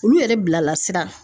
Olu yɛrɛ bila lasira.